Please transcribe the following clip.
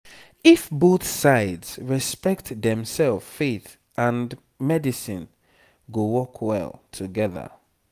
if both sides respect demself faith and medicine go work well together.